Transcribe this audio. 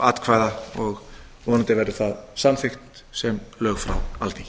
atkvæða og vonandi verður það samþykkt sem lög frá alþingi